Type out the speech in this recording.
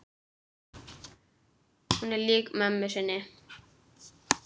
Hún er lík mömmu sinni.